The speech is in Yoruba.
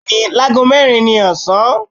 bẹẹni, làgó mẹrin ni ọsan.